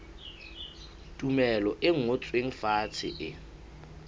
tumello e ngotsweng fatshe e